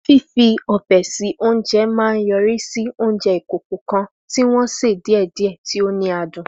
Fífi ọbẹ̀ sí oúnjẹ máa ń yọrí sí oúnjẹ ìkòkò kan tí wọ́n sè díẹ̀díẹ̀, tí ó ní adùn.